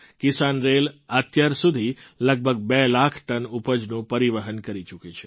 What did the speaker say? કિસાન rail અત્યાર સુધી લગભગ બે લાખ ટન ઉપજનું પરિવહન કરી ચૂકી છે